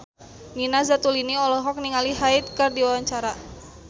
Nina Zatulini olohok ningali Hyde keur diwawancara